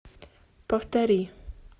повтори